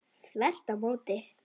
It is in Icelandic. Þvert á móti!